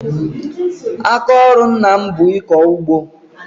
Aka ọrụ ńnà m bụ ịkọ ụgbọ.